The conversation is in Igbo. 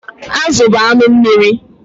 Azụ bụ anụ mmiri.